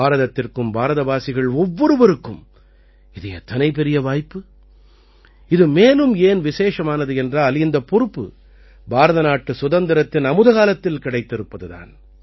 பாரதத்திற்கும் பாரதவாசிகள் ஒவ்வொருவருக்கும் இது எத்தனை பெரிய வாய்ப்பு இது மேலும் ஏன் விசேஷமானது என்றால் இந்தப் பொறுப்பு பாரத நாட்டு சுதந்திரத்தின் அமுதகாலத்தில் கிடைத்திருப்பது தான்